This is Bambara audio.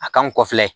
A kan kɔfɛ